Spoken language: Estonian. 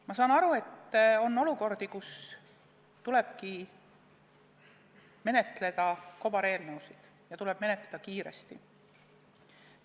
Ma saan aru, et on olukordi, kus tõesti tuleb menetleda kobareelnõusid ja tuleb menetleda kiiresti.